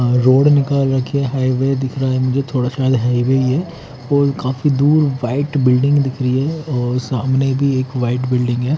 Road निकल रखे highway दिख रहा है मुझे थोड़ा सा हाइवे ही है और काफी दूर व्हाइट बिल्डिंग दिख रही है और सामने भी एक व्हाइट बिल्डिंग है।